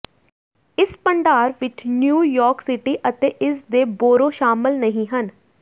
ਇਸ ਭੰਡਾਰ ਵਿੱਚ ਨਿਊਯਾਰਕ ਸਿਟੀ ਅਤੇ ਇਸ ਦੇ ਬੋਰੋ ਸ਼ਾਮਲ ਨਹੀਂ ਹਨ